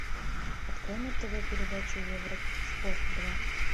открой на тв передачу евроспорт два